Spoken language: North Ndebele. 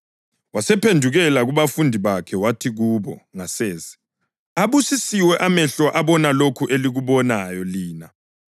Wasephendukela kubafundi bakhe wathi kubo ngasese, “Abusisiwe amehlo abona lokhu elikubonayo lina.